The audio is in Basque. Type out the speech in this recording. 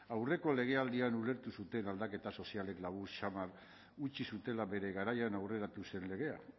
aurreko legealdian ulertu zuten aldaketa sozialek labur samar utzi zutela bere garaian aurreratu zen legea